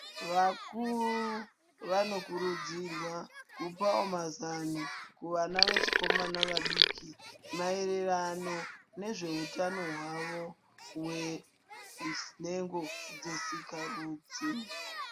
Vakuru vano kurudzirwa kupawo mazano, kuvana vechikomana vadiki, maererano nezveutano hwavo hwenhengo dzesikarudzi.